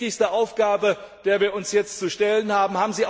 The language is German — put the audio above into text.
Das ist die wichtigste Aufgabe, der wir uns jetzt zu stellen haben.